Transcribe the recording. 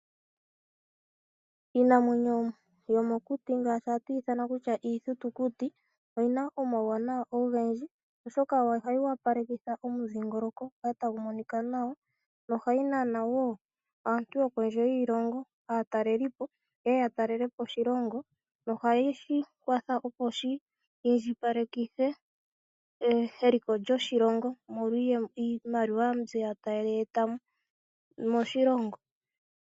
Iinamwenyo yomokuti ngashi hatu yi ithanakutya iithitukuti, oyina omauwanawa ogendji oshoka ohayi wapalekitha omudhingoloko gukale tagu monika nawa, no ohayi nana wo aantu yokondje yiilongo, ano aatalelipo yeye ya talelepo oshilongo, nohashi kwatha opo shi indjipalekitha eliko lyoshilongo molwa iiyemo mbyoka taya eta moshilongo.